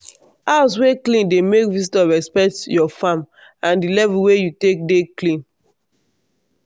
house wey clean dey make visitor respect your farm and di level wey you take dey clean.